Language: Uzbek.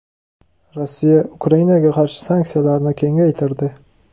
Rossiya Ukrainaga qarshi sanksiyalarni kengaytirdi.